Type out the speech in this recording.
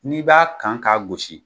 N'i b'a kan k'a gosi